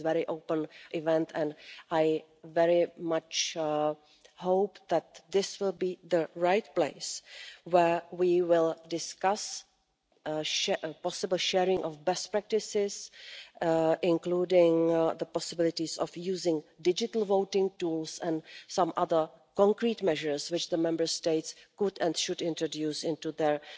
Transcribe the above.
This is a very open event and I very much hope that this will be the right place where we will discuss the possible sharing of best practices, including the possibilities of using digital voting tools and some other concrete measures which the Member States could and should introduce into